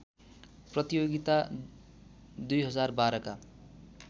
प्रतियोगिता २०१२ का